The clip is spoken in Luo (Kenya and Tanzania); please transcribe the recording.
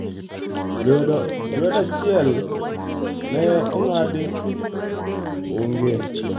Lwedo achiel ne ong'adi, oonge.